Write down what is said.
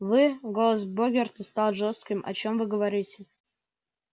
вы голос богерта стал жёстким о чём вы говорите